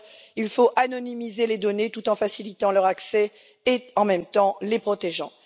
il faut anonymiser les données tout en facilitant leur accès et, en même temps, en les protégeant.